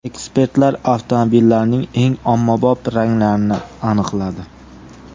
Ekspertlar avtomobillarning eng ommabop ranglarini aniqladi.